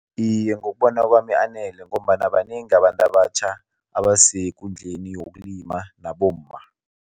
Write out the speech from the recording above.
Iye, ngokubona kwami anele ngombana banengi abantu abatjha abasekundleli yokulima, nabomma.